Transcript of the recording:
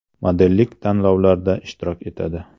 Modellik tanlovlarida ishtirok etadi.